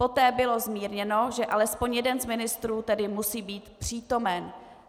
Poté bylo zmírněno, že alespoň jeden z ministrů tedy musí být přítomen.